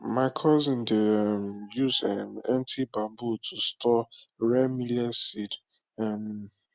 my cousin dey um use um empty bamboo to store rare millet seed um